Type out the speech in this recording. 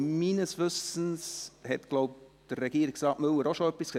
Meines Wissens hat Regierungsrat Müller auch schon etwas dazu gesagt, oder?